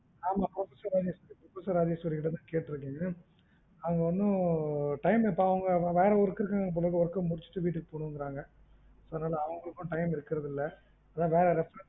ஆமா professor ராஜேஸ்வரிக்கிட்ட தான் கேட்ருக்கேன். அது வந்து அவங்க time இப்ப அவங்க வேற work இருக்குது போல work முடிச்சுட்டு வீட்டுக்கு பொன்னுனு சொல்றாங்க, அவங்களுக்கும் time இருக்குறதுஇல்ல, அதான் வேற reference